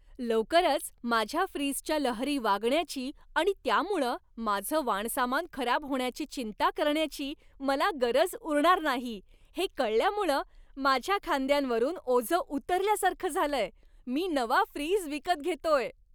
लवकरच माझ्या फ्रीजच्या लहरी वागण्याची आणि त्यामुळं माझं वाणसामान खराब होण्याची चिंता करण्याची मला गरज उरणार नाही हे कळल्यामुळं माझ्या खांद्यांवरून ओझं उतरल्यासारखं झालंय. मी नवा फ्रीज विकत घेतोय.